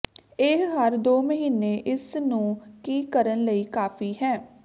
ਇਹ ਹਰ ਦੋ ਮਹੀਨੇ ਇਸ ਨੂੰ ਕੀ ਕਰਨ ਲਈ ਕਾਫ਼ੀ ਹੈ